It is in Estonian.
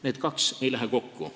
Need kaks asja ei lähe kokku.